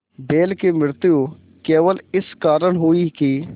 बैल की मृत्यु केवल इस कारण हुई कि